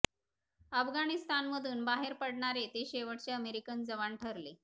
अफगाणिस्तानमधून बाहेर पडणारे ते शेवटचे अमेरिकन जवान ठरले